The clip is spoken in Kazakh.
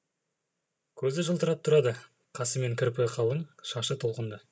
көзі жылтырап тұрады қасы мен кірпігі қалың шашы толқынды